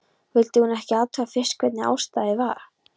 Vildi hún ekki athuga fyrst hvernig stæði á?